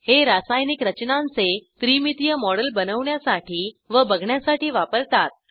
हे रासायनिक रचनांचे त्रिमितीय मॉडेल बनवण्यासाठी व बघण्यासाठी वापरतात